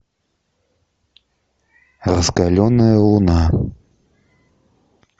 раскаленная луна